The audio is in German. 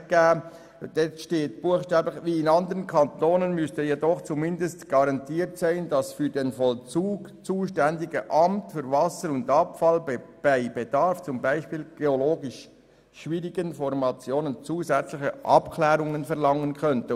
In diesem steht buchstäblich: «Wie in anderen Kantonen müsste jedoch zumindest garantiert sein, dass das für den Vollzug zuständige Amt (Amt für Wasser und Abfall) bei Bedarf, z. B. bei geologisch schwierigen Formationen, zusätzliche Abklärungen verlangen könnte.